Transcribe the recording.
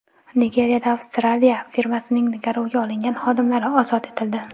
Nigeriyada Avstraliya firmasining garovga olingan xodimlari ozod etildi.